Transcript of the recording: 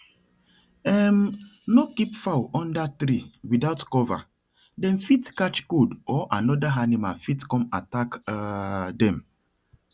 um no keep fowl under tree without cover dem fit catch cold or another animal fit come attack um dem